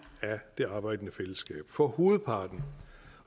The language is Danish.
af det arbejdende fællesskab for hovedparten